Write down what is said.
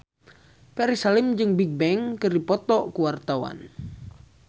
Ferry Salim jeung Bigbang keur dipoto ku wartawan